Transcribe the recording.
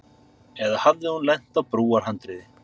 Eða hafði hún lent á brúarhandriði.